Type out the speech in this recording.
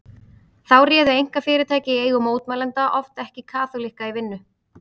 Þá réðu einkafyrirtæki í eigu mótmælenda oft ekki kaþólikka í vinnu.